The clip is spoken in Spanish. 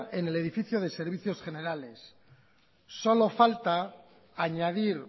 en el edificio de servicios generales solo falta añadir